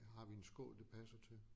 Har vi en skål det passer til?